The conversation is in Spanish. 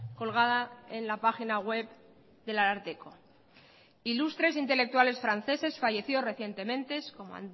colgada en la página web del ararteko ilustres intelectuales franceses fallecidos recientemente como